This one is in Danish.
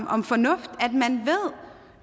om fornuft